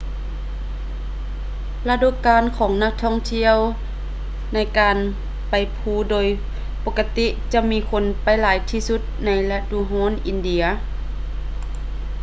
ລະດູການຂອງນັກທ່ອງທ່ຽວໃນການໄປພູໂດຍປົກະຕິຈະມີຄົນໄປຫຼາຍທີ່ສຸດໃນລະດູຮ້ອນອິນເດຍ